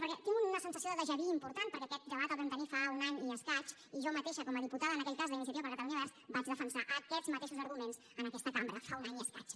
perquè tinc una sensació de déjà vudebat el vam tenir fa un any i escaig i jo mateixa com a diputada en aquell cas d’iniciativa per catalunya verds vaig defensar aquests mateixos arguments en aquesta cambra fa un any i escaig